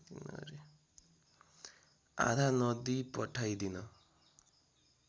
आधा नदी पठाइदिन